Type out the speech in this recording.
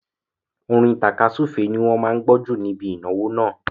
Orin tàkasúfèé ni wọ́n máa gbó jù ní ibi ìnáwó náà.